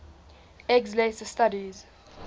eggs later studies